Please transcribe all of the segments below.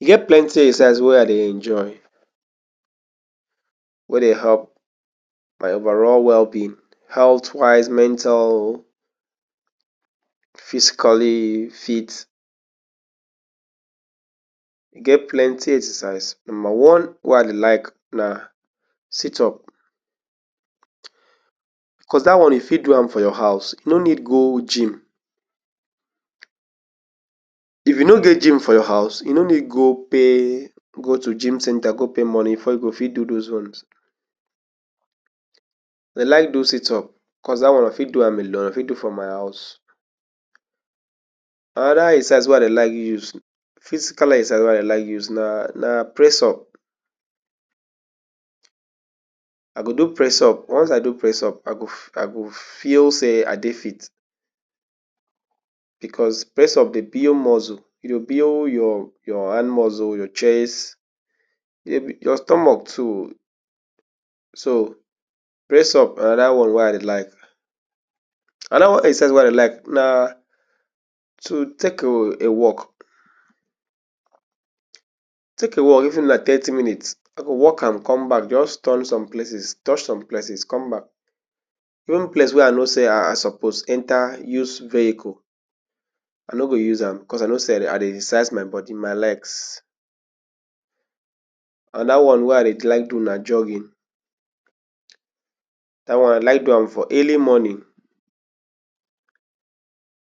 E get plenti exercise wey I dey enjoy wey dey help my overall well-being, health wise, mental, physically fit. E get plenti exercise. Numba one wey I dey like na sit-up. Bicos dat one e fi do am for your haus. You no need go gym. If you no get gym for your haus, you no need go pay go tu gym centre go pay moni for you go fit do dose ones. I dey like do sit-up bicos dat one, i fit do am alone fi do am for my haus. Anoda exercise wey I dey like use physical exercise wey i dey like use na na press-up. I go do press-up. once I do press-up, I go i go feel say I dey fit. Bicos press-up dey build muscles. E yo build your hand muscle, your chest, evri your stomach too. So press-up anoda one wey I dey like. exercise wey I dey like na tu take a a walk. Take a walk, even na thirty minutes walk am come back. Just turn some places, touch som places come back. in place wey I know say I suppose enta use vehicle, I no go use am bicos I know say I dey i dey exercise my body, my legs. Anoda one wey I dey like do na jogging. Da one, I dey like do am for early morning.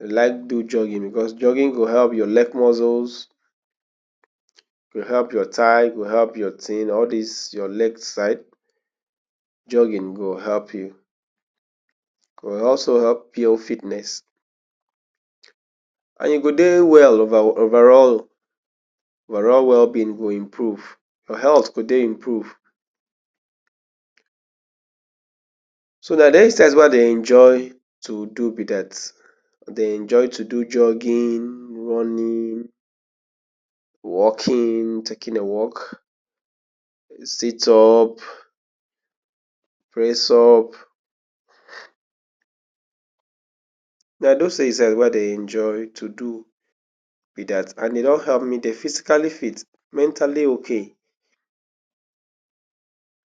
I dey like do jogging bicos jogging go help your lek muscles go help your tigh, e go help your tin, all dis your leg side. Jogging go help you go also help you fitness and you go dey well over overall. Overall well-being go improve, your health go dey improve. So na de exercise wey I dey enjoy tu do be dat. Dey enjoy tu do jogging, running, walking, taking a walk, sit-up, press-up. Na dose exercise wey I dey enjoy tu do be dat and e don help me dey physically fit mentally okay.